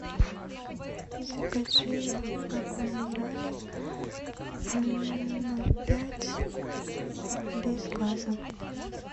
закажи аква минерале ноль пять без газа